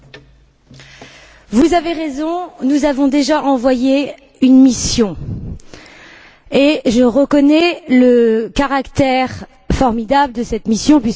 Vous avez raison, nous avons déjà envoyé une mission et je reconnais le caractère formidable de cette mission puisque vous avez travaillé dessus.